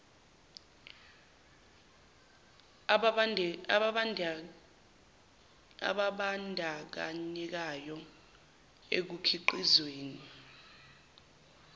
ababan dakanyekayo ekukhiqizweni